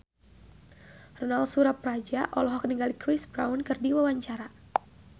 Ronal Surapradja olohok ningali Chris Brown keur diwawancara